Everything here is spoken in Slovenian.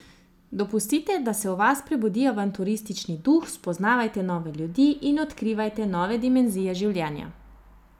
Dopustite, da se v vas prebudi avanturistični duh, spoznavajte nove ljudi in odkrivajte nove dimenzije življenja.